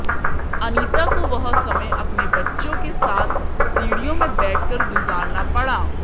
अनीता को वह समय अपने बच्चों के साथ सीढ़ियों में बैठ कर गुजारना पड़ा